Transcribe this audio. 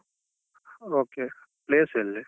Okay place ಎಲ್ಲಿ?